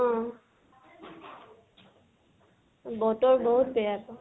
অহ। বতৰ বাহুত বেয়াটো।